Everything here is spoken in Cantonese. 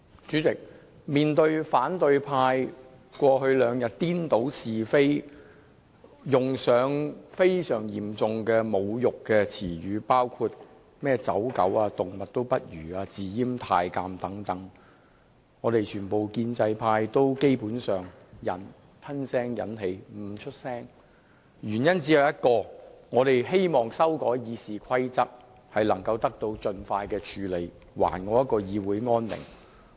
主席，面對反對派議員過去兩天顛倒是非，用上非常嚴重的侮辱詞語，包括"走狗"、"動物也不如"、"自閹太監"等，我們全部建制派議員基本上都吞聲忍氣，默不作聲，原因只有一個，就是我們希望修改《議事規則》的建議得以盡快處理，使議會恢復安寧。